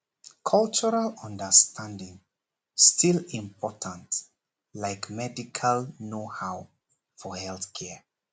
cultural understanding still important like medical knowhow for health care